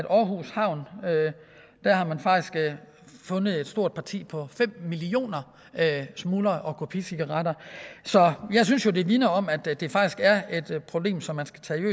aarhus havn har fundet et stort parti på fem millioner smugler og kopicigaretter så jeg synes jo det vidner om at det faktisk er et problem som man skal tage